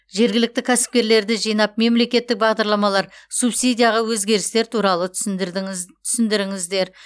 жергілікті кәсіпкерлерді жинап мемлекеттік бағдарламалар субсидияға өзгерістер туралы түсіндіріңіздер